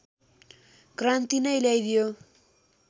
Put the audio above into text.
क्रान्ति नै ल्याइदियो